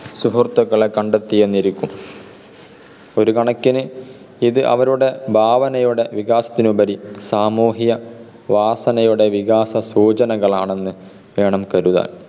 സുഹൃത്തുക്കളെ കണ്ടെത്തിയെന്നിരിക്കും. ഒരുകണക്കിന് ഇത് അവരുടെ ഭാവനയുടെ വികാസത്തിനുപരി സാമൂഹിക വാസനയുടെ വികാസ സൂചനകളാണെന്ന് വേണം കരുതാൻ.